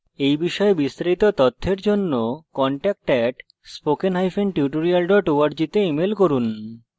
এই বিষয়ে বিস্তারিত তথ্যের জন্য contact at spokentutorial org তে ইমেল করুন